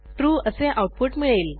true असे output मिळेल